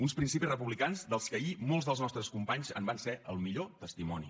uns principis republicans dels que ahir molts dels nostres companys en van ser el millor testimoni